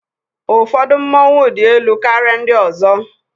Ụfọdụ mmọnwu dị elu karịa ndị ọzọ